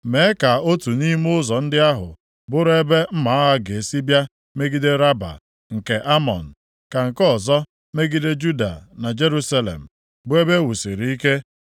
Mee ka otu nʼime ụzọ ndị ahụ bụrụ ebe mma agha ga-esi bịa megide Raba nke Amọn, ka nke ọzọ megide Juda na Jerusalem, bụ ebe e wusiri ike.